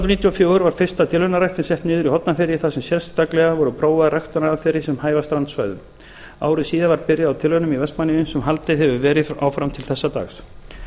hundruð níutíu og fjögur var fyrsta ræktunartilraunin sett niður í hornafirði þar sem sérstaklega voru prófaðar ræktunaraðferðir sem hæfa strandsvæðum ári síðar var byrjað á tilraunum í vestmannaeyjum sem haldið hefur verið áfram til þessa dags